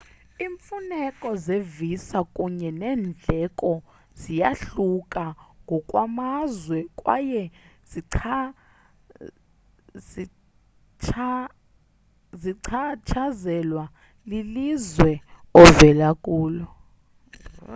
iimfuneko zevisa kunye neendleko ziyahluka ngokwamazwe kwaye zichatshazelwa lilizwe ovela kulo